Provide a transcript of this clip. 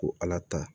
Ko ala ta